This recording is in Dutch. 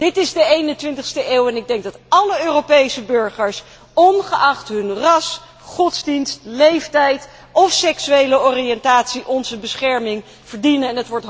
Dit is de eenentwintigste eeuw en ik denk dat alle Europese burgers ongeacht hun ras, godsdienst, leeftijd of seksuele oriëntatie onze bescherming verdienen.